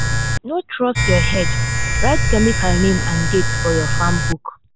no trust your head—write chemical name and date for your farm book.